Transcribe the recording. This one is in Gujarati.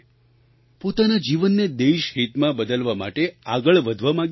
પોતાના જીવનને દેશહિતમાં બદલવા માટે આગળ વધવા માગીએ છીએ